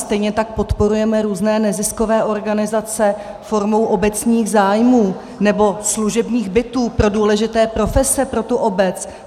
Stejně tak podporujeme různé neziskové organizace formou obecních zájmů, nebo služební byty pro důležité profese pro tu obec.